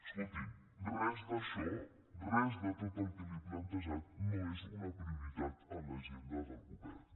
escolti’m res d’això res de tot el que li he plantejat no és una prioritat en l’agenda del govern